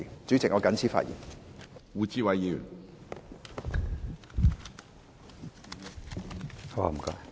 主席，我謹此陳辭。